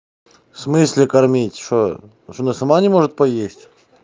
в смысле кормить что что она сама не может поесть